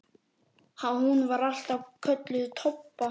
Hún var alltaf kölluð Tobba.